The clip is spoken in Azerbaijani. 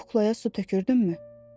Mən bu kuklaya su tökürdüm mü?